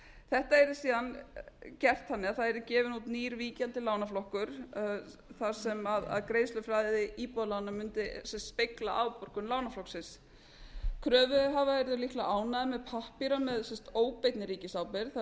þetta yrði síðan gert þannig að það yrði gefinn út nýr víkjandi lánaflokkur þar sem greiðsluflæði í íbúðalánum mundi speglast afborgun lánaflokksins kröfuhafar yrðu líklega ánægðir með pappíra með óbeinni ríkisábyrgð þar sem er